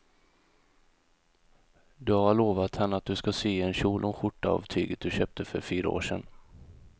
Du har lovat henne att du ska sy en kjol och skjorta av tyget du köpte för fyra år sedan.